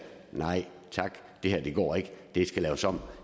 nej tak det her går ikke det skal laves om